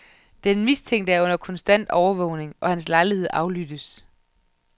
Den mistænkte er under konstant overvågning, og hans lejlighed aflyttes.